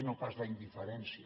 no pas la indiferència